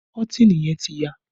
Kọ́tìnì yẹn ti ya